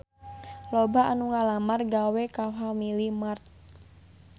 Loba anu ngalamar gawe ka Family Mart